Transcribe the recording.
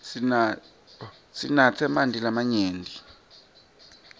sinatse emanti lamanyenti